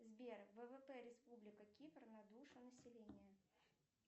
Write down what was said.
сбер ввп республика кипр на душу населения